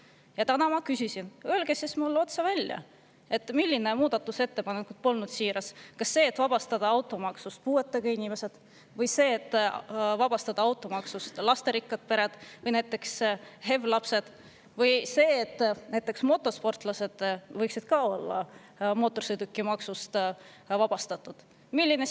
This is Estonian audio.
Ja täna ma küsisin, et öelge mulle otse välja, milline muudatusettepanek polnud siiras: kas see, et vabastada automaksust puuetega inimesed, või see, et vabastada automaksust lasterikkad või näiteks HEV-lastega pered, või see, et näiteks motosportlased võiksid ka olla mootorsõidukimaksust vabastatud?